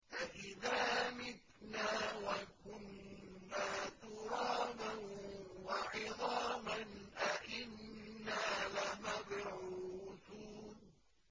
أَإِذَا مِتْنَا وَكُنَّا تُرَابًا وَعِظَامًا أَإِنَّا لَمَبْعُوثُونَ